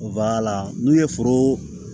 n'u ye foro